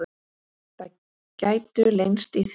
Það gætu leynst í því.